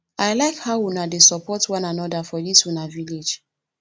i like how una dey support one another for dis una village